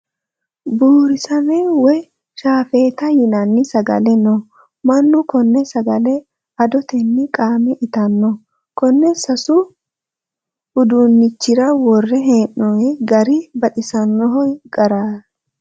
Buurisame woyi shaafetate yinanni sagale no. Mannu konne sagale adoteyi qaame itanno. Konne sasu uduunichira worre hee'noyi gari baxisanno gari.